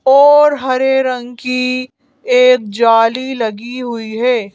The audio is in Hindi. और हरे रंग की एक जाली लगी हुई है।